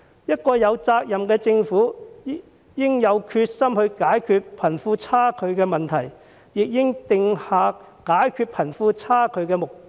一個有責任的政府應有決心解決貧富差距的問題，亦應訂下解決貧富差距的目標。